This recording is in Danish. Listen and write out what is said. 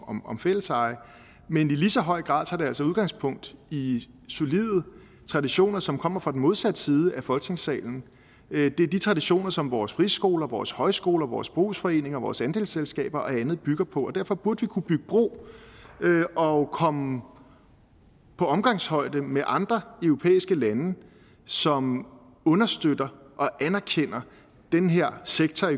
om om fælleseje men i lige så høj grad tager det altså udgangspunkt i solide traditioner som kommer fra den modsatte side af folketingssalen det er de traditioner som vores friskoler vores højskoler vores brugsforeninger vores andelsselskaber og andet bygger på og derfor burde vi kunne bygge bro og komme på omgangshøjde med andre europæiske lande som understøtter og anerkender den her sektor